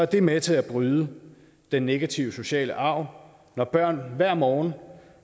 det med til at bryde den negative sociale arv når børn hver morgen